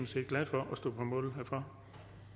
set glad for at stå på mål for